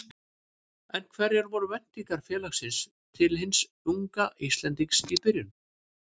En hverjar voru væntingar félagsins til hins unga Íslendings í byrjun?